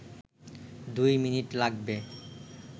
দুই মিনিট লাগবে